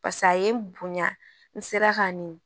pase a ye n bonya n sera ka n nin